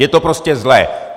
Je to prostě zlé.